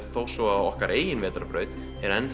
þó svo að okkar eigin vetrarbraut er